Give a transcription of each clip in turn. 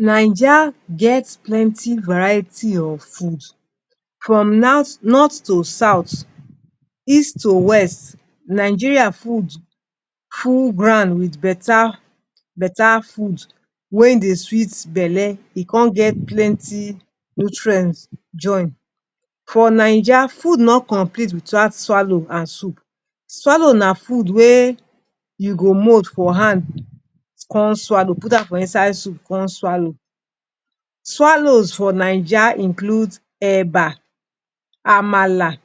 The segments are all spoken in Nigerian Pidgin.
Naija get plenty variety of food. From nat north to south. East to west. Nigerian food full ground with beta beta food wey dey sweet belle, e con get plenty nutrient join. For Naija, food no complete without swallow and soup. Swallow na food wey you go mold for hand, con swallow put am for inside soup come swallow. Swallows for Naija includes: Eba, Amala,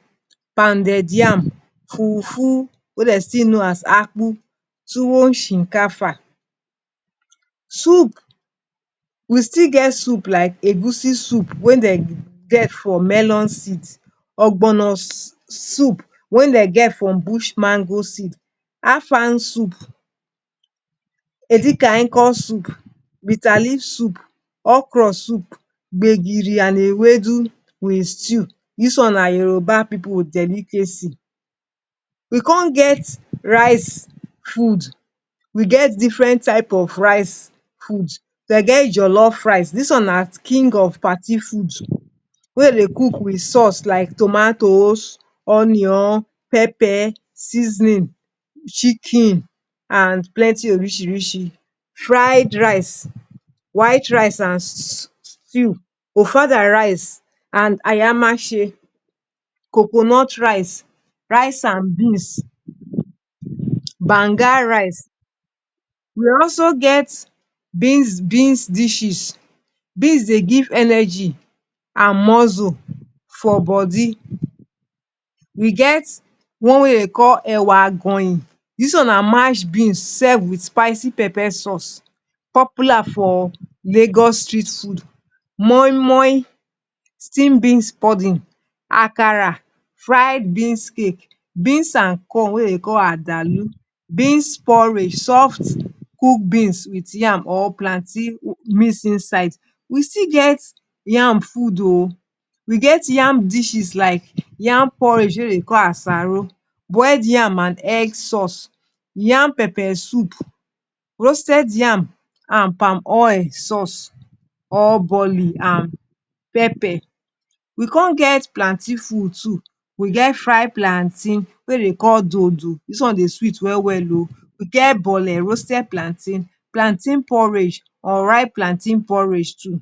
Pounded yam, Fufu wey dey still know as Akpu, Tuwon shinkafa. Soup, We still get soups like Egusi soup wey dem get from melon seed. Ogbono soup wey dem get from bush mango seed. Afang soup. Edikang Ikong soup. Bitterleaf soup. Okra soup. Gbegiri and Ewedu with stew. Dis one na Yoruba pipu delicacy. We con get rice food. We get different type of rice food. Dem get Jollof rice dis one na king of party food wey dem dey cook with sauce like tomatoes, onions, peppers, seasoning, chicken and plenty orisirisi. Fried rice, white rice and stew, Ofada rice and Ayamashe, coconut rice, rice and beans, Banga rice. We also get beans dishes. Beans dey give energy and muscle for body. We get the one wey dem dey call Ewa Agoyin dis one na mashed beans served with spicy peppered sauce. Popular for Lagos street food. Moi Moi steam beans pudding. Akara fried beans cake. Beans and corn wey dem dey call Adalu. Beans porridge soft cooked beans with yam or plantain mix inside. We still get yam food oh! We get yam dishes like yam porridge wey dem dey call Asaro, boiled yam and egg sauce, yam pepper soup, roasted yam and palm oil sauce or Boli and pepper. We con get plantain food too. We get fried plantain wey dem dey call Dodo dis one dey sweet well well. We get Boli roasted plantain. Plantain porridge. Unripe plantain porridge too.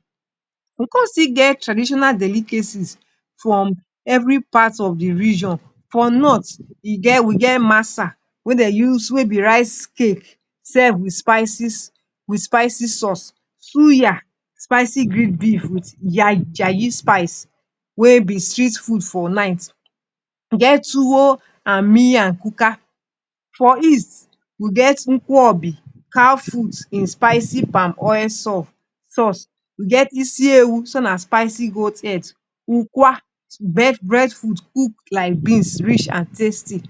We come still get traditional delicacies from every part of the region. For north, we get Masa wey be rice cake served with spicy sauce. Suya spicy grilled beef with Yayi spice wey be street food for night. We get Tuwo and Miyan Kuka. For east, we get Ukobi, cow feet in spicy palm oil sauce. We get Isi Ewu spicy goat head. Ukwa breadfruit cooked like beans, rich and tasty.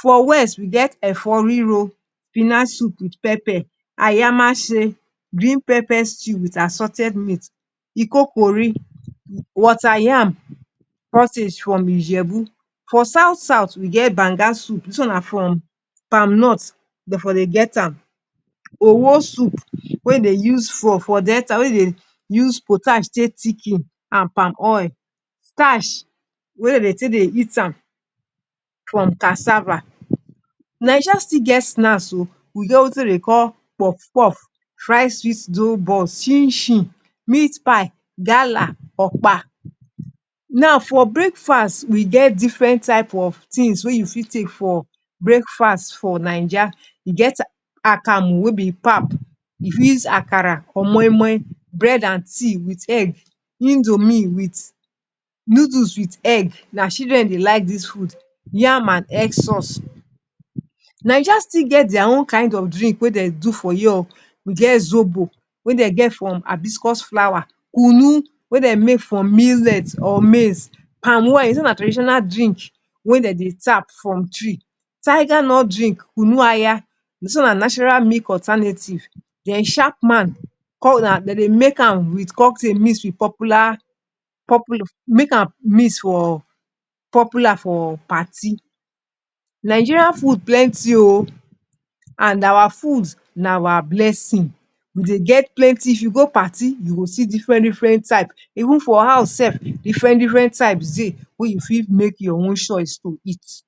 For west, we get Efo Riro spinach soup with pepper. Ayamashe green pepper soup with assorted meat. Ikokore water yam cottage from Ijebu. For south south, we get Banga soup dis one na from palm nut dem dey get am. Owo soup wey dey use for Delta, wey dey use potash take thicken and palm oil. Starch wey dem dey take chop am, from cassava. Naija still get snacks oh! We get wetin dem dey call Puff Puff, fried fish dough buns, Chin Chin, meat pie, Gala, Okpa. Now for breakfast, we get different types of things wey you fit take for breakfast for Naija. E get Akamu wey be pap you fit use am with Akara or Moi Moi. Bread and tea with egg, Indomie with or noodles with egg na children dey like dis food. Yam and egg sauce. Naija still get their own kind of drinks wey dem dey make for here oh! We get Zobo wey dem get from hibiscus flower. Kunu wey dem make from millet or maize. Palm wine traditional drink wey dem dey tap from tree. Tigernut drink Kunun Aya dis one na natural milk alternative. Then Chapman dem dey make am with cocktail mix with popular make am mix for popular for popular for parties. Nigerian food plenty oh! And our food na our blessing, we dey get plenty. If you go party you go see different different types. Even for house sef, different different types dey wey you fit make your own choice to eat.